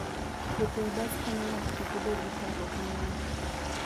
Wuotho e bas konyo ng'ato kik obed gi parruok mang'eny.